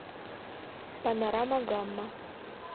панорама гамма